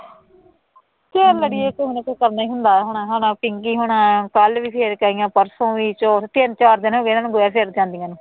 ਚੱਲ ਅੜੀਏ ਕੋਈ ਉਹਨਾ ਤੋਂ ਕੰਮ ਨਹੀਂ ਹੁੰਦਾ ਹੋਣਾ, ਇਹਨਾ ਨਾਲ ਪਿੰਕੀ ਹੋਣਾ ਨਾਲ, ਕੱਲ੍ਹ ਵੀ ਫੇਰ ਕੇ ਆਈ ਹਾਂ, ਪਰਸੋਂ ਵੀ, ਚੌਥ ਵੀ, ਤਿੰਂਨ ਚਾਰ ਦਿਨ ਹੋ ਗਏ ਇਹਨਾ ਨੂੰ ਗੋਹਾ ਫੇਰਨ ਜਾਂਦੀਆਂ ਨੂੰ